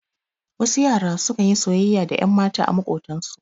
Wasu yara su kan yi soyayya da ƴanmata a maƙotan su.